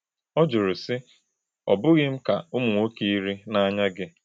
Ọ jụrụ sị: “Ò bughi m ka ụmụ nwoke iri n’anya gị?”